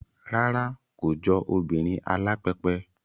Rárá, kò jọ obìnrin alápẹpẹ